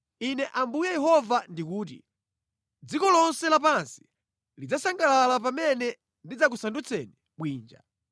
Ine Ambuye Yehova ndikuti: Dziko lonse lapansi lidzasangalala pamene ndidzakusandutsani bwinja.